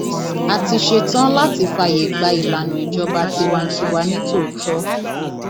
a ti ṣetán láti fààyè gba ìlànà ìjọba tiwantiwa nítòótọ